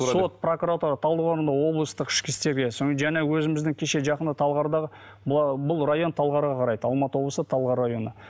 сот прокуратура талдықорғанда облыстық ішкі істерге сонымен жаңа өзіміздің кеше жақында талғардағы бұл бұл район талғарға қарайды алматы облысы талғар районы